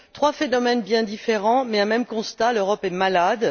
Trois phénomènes bien différents, mais un même constat l'Europe est malade.